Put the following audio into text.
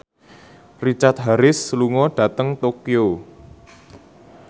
Richard Harris lunga dhateng Tokyo